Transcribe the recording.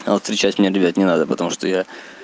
а вот встречать меня ребята не надо потому что я